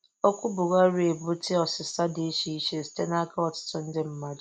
Okwu Bùhàrì a ebutèè ọ̀sị̀sà dị iche iche site n'aka ọtụtụ ndị mmà.